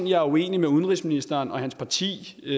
jeg er uenig med udenrigsministeren og hans parti i